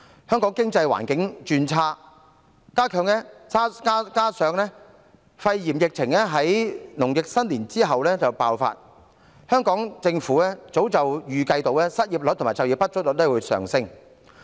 香港經濟環境轉差，加上肺炎疫情在農曆新年後爆發，香港政府早已預計失業率和就業不足率會上升。